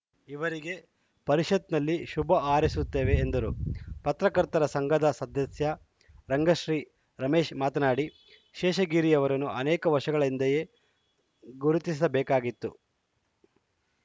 ಇವರಿಗೆ ಪರಿಷತ್‌ ನಲ್ಲಿ ಶುಭ ಹಾರೈಸುತ್ತೇವೆ ಎಂದರು ಪತ್ರಕರ್ತರ ಸಂಘದ ಸದಸ್ಯ ರಂಗಶ್ರೀ ರಮೇಶ್‌ ಮಾತನಾಡಿ ಶೇಷಗಿರಿಯವರನ್ನು ಅನೇಕ ವರ್ಷಗಳ ಹಿಂದೆಯೇ ಗುರುತಿಸಬೇಕಾಗಿತ್ತು